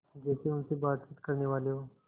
जैसे उनसे बातचीत करनेवाले हों